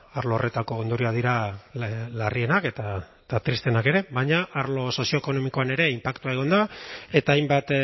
arlo horretako ondorioak dira larrienak eta tristeenak ere baina arlo sozioekonomikoan ere inpaktua egon da eta hainbat